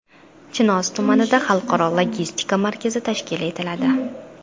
Chinoz tumanida xalqaro logistika markazi tashkil etiladi.